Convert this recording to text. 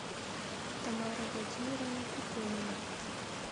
тамара владимировна пеконина